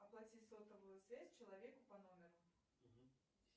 оплати сотовую связь человеку по номеру